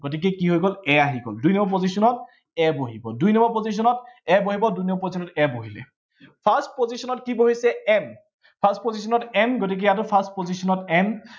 গতিকে কি হৈ গল, a আহি গল। দুই number position ত a বহি গল। দুই number position ত a বহিব, দুই number position ত a বহিলে first position ত কি বহিছে m, first position ত m গতিকে ইয়াতো first position ত m